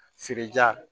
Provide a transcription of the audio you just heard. Feere ja